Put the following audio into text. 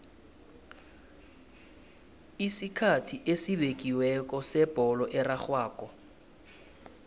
isikhathi esibekiweko sebholo erarhwako